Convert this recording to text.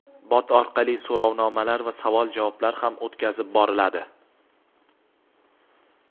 bot orqali so‘rovnomalar va savol-javoblar ham o‘tkazib boriladi.